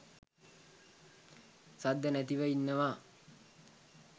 සද්ද නැතිව ඉන්නවා.